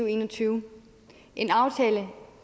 en og tyve en aftale